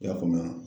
I y'a faamu wa